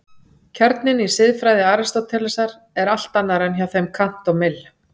Kjarninn í siðfræði Aristótelesar er allt annar en hjá þeim Kant og Mill.